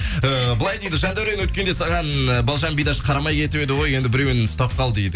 э былай дейді жандәурен өткенде саған і балжан бидаш саған қарамай кетіп еді ғой енді біреуін ұстап қал дейді